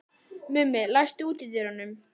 Mummi, læstu útidyrunum.